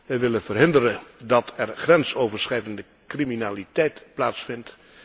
Wij willen verhinderen dat er grensoverschrijdende criminaliteit plaatsvindt.